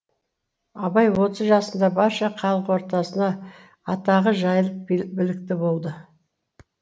абай отыз жасында барша халық ортасына атағы жайылып білікті болды